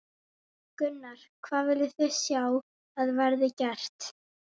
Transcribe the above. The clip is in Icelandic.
Gunnar: Hvað viljið þið sjá að verði gert?